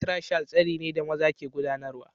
Fatriarchal tsari ne da maza ke gudanarwa